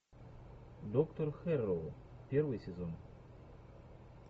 доктор хэрроу первый сезон